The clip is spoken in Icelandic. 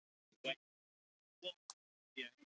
Ég safnaði einum tíu eða fimmtán áskrifendum að